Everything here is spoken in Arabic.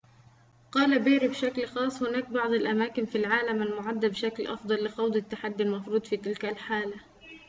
قال بيري بشكل خاص هناك بعض الأماكن في العالم المُعدة بشكل أفضل لخوض التحدي المفروض في تلك الحالة